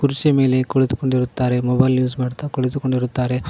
ಕುರ್ಚಿ ಮೇಲೆ ಕುಳಿತುಕೊಂಡಿರುತ್ತಾರೆ ಮೊಬೈಲ್ ಯೂಸ್ ಮಾಡ್ತಾ ಕುಳಿತುಕೊಂಡಿರುತ್ತಾರೆ.